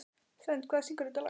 Svend, hver syngur þetta lag?